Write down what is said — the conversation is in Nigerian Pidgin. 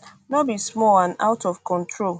no be small and out of control